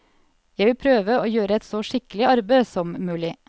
Jeg vil prøve å gjøre et så skikkelig arbeid som mulig.